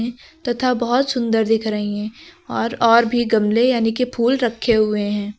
तथा बहुत सुंदर दिख रही हैं और और भी गमले यानी कि फूल भी रखे हुए हैं।